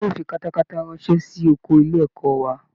Ìjọba yóò fi katakata ránṣẹ́ sí ọkọ ilé ẹ̀kọ́ wa